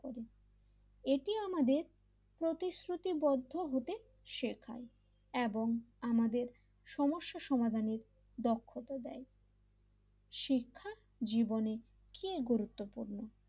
এটি আমাদের প্রতিশ্রুতিবদ্ধ হতে শেখায় এবং আমাদের সমস্যা সমাধানের দক্ষতা দেয় দক্ষতা দেয় শিক্ষাজীবনের কি গুরুত্বপূর্ণ,